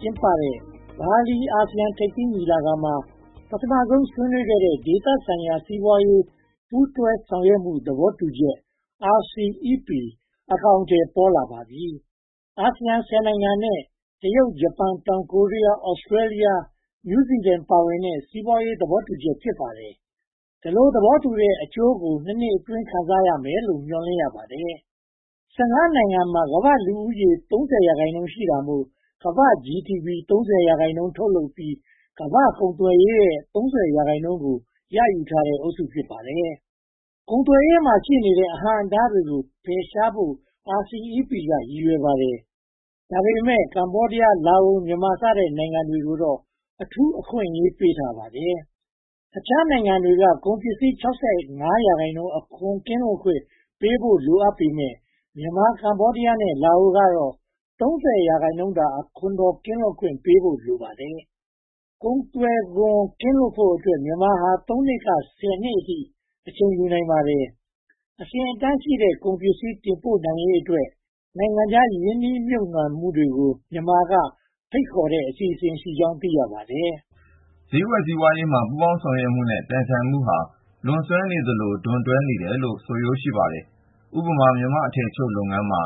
ကျင်းပတဲ့ ဘာလီအာဆီယံထိပ်သီးညီလာခံမှာ ပထမဆုံးဆွေးနွေးခဲ့တဲ့ ဒေသဆိုင်ရာ စီးပွားရေးပူးတွဲ ဆောင်ရွက်မှု သဘောတူချက်၊ RCEP – Regional Comprehensive Economic Partnership အကောင်အထည် ပေါ်လာပါပြီ။ အာဆီယံ (၁၀) နိုင်ငံနဲ့ တရုတ်၊ ဂျပန်၊ တောင်ကိုရီးယား၊ Australia, New Zeland ပါဝင်တဲ့ စီးပွားရေးသဘောတူညီချက် ဖြစ်ပါတယ်။ ဒီလိုသဘောတူတဲ့ အကျိုးကို (၂) နှစ်အတွင်း ခံစားရမယ်လို့ မျှော်လင့်ရပါတယ်။ (၁၅) နိုင်ငံမှာ ကမ္ဘာ့လူဦးရေ (၃၀)% ရှိတာမို့ ကမ္ဘာ့ GDP (၃၀)% ထုတ်လုပ်ပြီး၊ ကမ္ဘာ့ကုန်သွယ်ရေးရဲ့ (၃၀)% ကို ရယူထားနိုင်တဲ့အုပ်စု ဖြစ်ပါတယ်။ ကုန်သွယ်ရေးမှာ ရှိနေတဲ့ အဟန့်အတားတွေကို ဖယ်ရှားဖို့ RCEP က ရည်ရွယ်ပါတယ်။ ဒါပေမဲ့ ကမ္ဘောဒီးယား၊ လာအို၊ မြန်မာ စတဲ့ နိုင်ငံတွေကိုတော့ အထူးအခွင့်အရေး ပေးပါတယ်။ အခြားနိုင်ငံတွေက ကုန်ပစ္စည်း (၆၅)% အခွန်ကင်းလွတ်ခွင့် ပေးဖို့လိုအပ်ပေမယ့် မြန်မာ၊ ကမ္ဘောဒီးယားနဲ့ လာအိုကတော့ (၃၀)% သာ အခွန်တော် ကင်းလွတ်ခွင့်ပေးဖို့ လိုပါတယ်။ ကုန်သွယ်ခွင့် ကင်းလွတ်ဖို့အတွက် မြန်မာဟာ (၃) နှစ်ကနေ (၁၀) အထိ အချိန်ယူနိုင်ပါတယ်။ အဆင့်အတန်းရှိတဲ့ ကုန်ပစ္စည်းတင်ပို့နိုင်ရေးအတွက် နိုင်ငံခြားရင်းနှီးမြုပ်နံှမှုတွေကို မြန်မာက ဖိတ်ခေါ်မယ့် အစီအစဉ်ရှိကြောင်း သိရပါတယ်။ ဈေးကွက်စီးပွားရေးမှာ ပူးပေါင်းဆောင်ရွက်မှုနဲ့ ပြိုင်ဆိုင်မှုဟာ လွန်ဆွဲသလို ဒွန်တွဲနေယ်လို့ ဆိုရိုးရှိပါတယ်။ ဥပမာ မြန်မာ့အထည်ချုပ်လုပ်ငန်းမှာ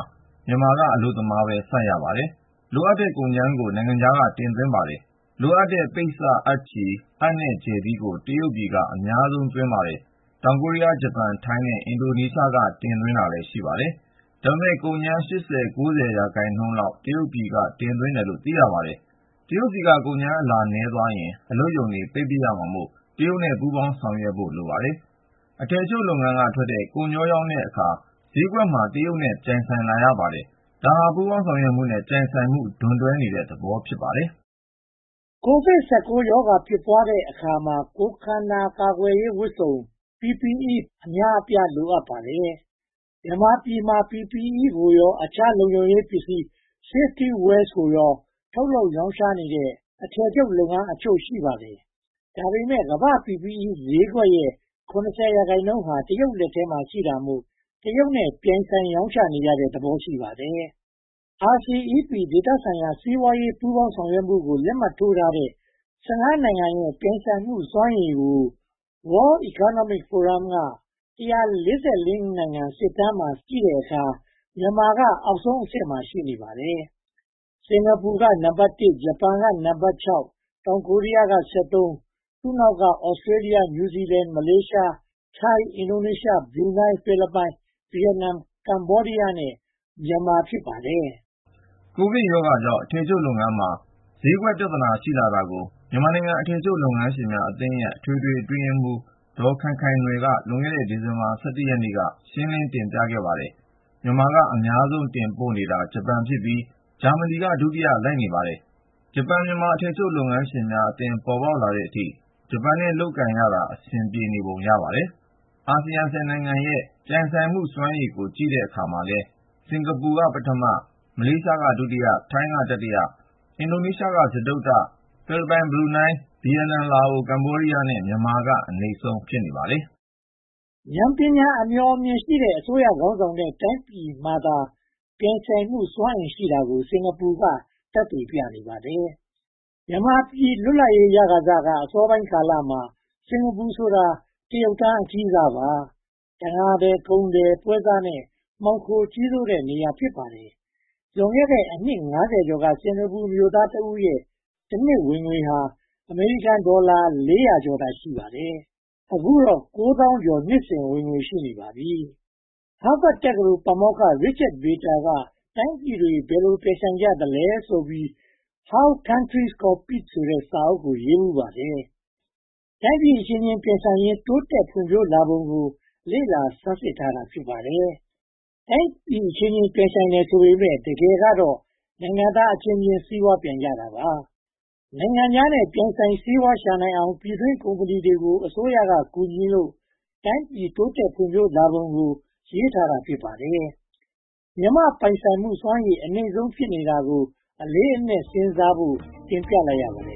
မြန်မာက အလုပ်သမားပဲ စိုက်ရပါတယ်။ လိုအပ်တဲ့ ကုန်ကြမ်းကို နိုင်ငံခြားက တင်သွင်းပါတယ်။ လိုအပ်တဲ့ ပိတ်စ၊ အပ်ချည်၊ အပ်နဲ့ ကြယ်သီးကို တရုတ်ပြည်က အများဆုံး တင်သွင်းပါတယ်။ တောင်ကိုရီးယား၊ ဂျပန်၊ ထိုင်းနဲ့ အင်ဒိုနီးရှားက တင်သွင်းတာလည်း ရှိပါတယ်။ ဒါပေမဲ့ ကုန်ကြမ်း (၈၀) သို့မဟုတ် (၉၀) ရာခိုင်နှုန်းလောက် တရုတ်ပြည်က တင်သွင်းတယ်လို့ သိရပါတယ်။ တရုတ်ဆီက ကုန်ကြမ်းအလာ နည်းသွားရင် အလုပ်ရုံတွေ ပိတ်ပစ်ရမှာမို့ တရုတ်နဲ့ ပူးပေါင်းဆောင်ရွက်နိုင်ဖို့ လိုပါတယ်။ အထည်ချုပ်လုပ်ငန်းကထွက်တဲ့ ကုန်ချောရောင်းတဲ့အခါ ဈေးကွက်မှာ တရုတ်နဲ့ ပြိုင်ဆိုင်လာရပါတယ်။ ဒါဟာ ပူးပေါင်းဆောင်ရွက်မှုနဲ့ ပြိုင်ဆိုင်မှု ဒွန်တွဲတဲ့သဘောပါ။ ကိုဗစ် (၁၉) ရောဂါ ဖြစ်ပွားတဲ့အခါမှာ ခန္ဓာကိုယ် ကာကွယ်ရေးဝတ်စုံ PPE – Personal Protection Equipment အများအပြား လိုအပ်ပါတယ်။ မြန်မာပြည်မှာ PPE ကိုရော အခြားလုံခြုံရေးပစ္စည်း Safety Wears တွေကို ထုတ်လုပ်ရောင်းချနေတဲ့ အထည်ချုပ်လုပ်ငန်းအချို့ ရှိပါတယ်။ ဒါပေမဲ့ ကမ္ဘာ့ PPE ဈေးကွက်ရဲ့ (၇၀) ရာခိုင်နှုန်းဟာ တရုတ်လက်ထဲမှာ ရှိတာကြောင့် တရုတ်နဲ့ ပြိုင်ဆိုင်ရောင်းချနေရတဲ့သဘော ရှိပါတယ်။ RCEP ဒေသဆိုင်ရာ စီးပွားရေး ပူးပေါင်းဆောင်ရွက်မှုကို လက်မှတ်ထိုးထားတဲ့ (၁၅) နိုင်ငံရဲ့ ပြိုင်ဆိုင်နိုင်မှုစွမ်းရည်ကို World Economic Forum ရဲ့ (၁၄၄) နိုင်ငံ စစ်တမ်းမှာ ကြည့်တဲ့အခါမှာ မြန်မာက အောက်ဆုံးအဆင့်မှာ ရှိနေပါတယ်။ စင်္ကာပူက နံပါတ် (၁)၊ ဂျပန်က နံပါတ် (၆)၊ တောင်ကိုရီးယားက (၁၃)၊ သူတို့နောက်က Australia (၁၆)၊ New Zealand (၁၉)၊ မလေးရှား (၂၇)၊ တရုတ် (၂၈)၊ ထိုင်း (၄၀)၊ အင်ဒိုနီးရှား (၅၀)၊ ဘရူးနိုင်း (၅၆)၊ ဖိလစ်ပိုင် (၆၄)၊ ဗိယက်နမ် (၆၇)၊ ကမ္ဘောဒီယား၊ လားအို နဲ့ မြန်မာတို့ ဖြစ်ပါတယ်။ ကိုဗစ်ရောဂါကြောင့် အထည်ချုပ်လုပ်ငန်းမှာ ဈေးကွက်ပြဿနာ ရှိလာတာကို မြန်မာနိုင်ငံ အထည်ချုပ်လုပ်ငန်းများအသင်းရဲ့ အထွေထွေအတွင်းရေးမှုး ဒေါ်ခိုင်ခိုင်နွယ်က လွန်ခဲ့တဲ့ ဒီဇင်ဘာလ (၁၁) ရက်နေ့က ရှင်းလင်းတင်ပြသွားပါတယ်။ မြန်မာက အများဆုံး တင်ပို့နေတာ ဂျပန်ဖြစ်ပြီး၊ ဂျာမဏီက ဒုတိယ လိုက်ပါတယ်။ ဂျပန်-မြန်မာ အထည်ချုပ်လုပ်ငန်းရှင်များအသင်း ပေါ်ပေါက်လာတဲ့အထိ ဂျပန်နဲ့ လုပ်ကိုင်ရတာ အဆင်ပြေနေပုံ ရပါတယ်။ အာဆီယံအသင်းဝင် (၁၀) နိုင်ငံရဲ့ ပြိုင်ဆိုင်နိုင်မှုစွမ်းရည်ကို ကြည့်တဲ့အခါမှာလည်း စင်္ကာပူ ပထမ၊ မလေးရှားက ဒုတိယ၊ ထိုင်းက တတိယ၊ အင်ဒိုနီးရှားက စတုတ္ထ၊ ဖိလစ်ပိုင်၊ ဘရူနိုင်း၊ ဗိယက်နမ်၊ လာအို၊ ကမ္ဘောဒီးယား နဲ့ မြန်မာက အနိမ့်ဆုံး ဖြစ်ပါတယ်။ ဉာဏ်ပညာအမြော်အမြင်ရှိတဲ့ အစိုးရခေါင်းဆောင်တဲ့ တိုင်းပြည်မှာသာ ပြိုင်ဆိုင်မှုစွမ်းအင် ရှိတာကို စင်္ကာပူက သက်သေပြနေပါတယ်။ မြန်မာပြည်လွတ်လပ်ရေးရခါစ အစောပိုင်းကာလမှာ စင်္ကာပူဆိုတာ တရုတ်တန်း အကြီးစားပါ။ တံငါးသည်၊ ကုန်သည်၊ ပွဲစားနဲ့ မှောင်ခိုကြီးစိုးတဲ့နေရာ ဖြစ်ပါတယ်။ လွန်ခဲ့တဲ့ အနှစ် (၅၀) ကျော်က စင်္ကာပူမြို့သားတဦးရဲ့ တနှစ်ဝင်ငွေဟာ အမေရိကန်ဒေါ်လာ (၄၀၀) ကျော်သာ ရှိပါတယ်။ အခုတော့ ဒေါ်လာကိုးသောင်းကျော် နှစ်စဉ်ဝင်ငွေ ရှိနေပါပြီ။ ဟားဗတ်တက္ကသိုလ် ပါမောက္ခ Richard Vietor က “တိုင်းပြည်တွေ ဘယ်လိုပြိုင်ဆိုင်ကြသလဲ” How Countries Compete ဆိုတဲ့ စာအုပ်ရေးဖူးပါတယ်။ တိုင်းပြည်အချင်းချင်း ပြိုင်ဆိုင်ရင်း တိုးတက်ဖွံ့ဖြိုးလာပုံကို လေ့လာဆန်းစစ်ထားတာ ဖြစ်ပါတယ်။ တိုင်းပြည်အချင်းချင်း ပြိုင်တယ်ဆိုပေမယ့် တကယ်ကတော့ နိုင်ငံသားအချင်းချင်း စီးပွားပြိုင်ကြတာပါ။ နိုင်ငံခြားနဲ့ ပြိုင်ဆိုင်စီးပွားရှာနိုင်အောင် ပြည်တွင်းကုမ္ပဏီတွေကို အစိုးရက ကူညီလို့ တိုင်းပြည်တိုးတက်ဖွံ့ဖြိုးလာပုံကို ရေးထားတာ ဖြစ်ပါတယ်။ မြန်မာ့ပြိုင်ဆိုင်နိုင်မှုစွမ်းရည် အနိမ့်ဆုံးဖြစ်နေတာကို အလေးအနက်စဉ်းစားဖို့ တင်ပြလိုက်ရပါတယ်